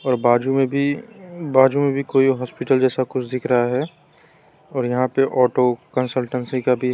बाजू में भी बाजू में भी कोई हॉस्पिटल जैसा कुछ दिख रहा है और यहां पे ऑटो कंसलटेंसी का भी है।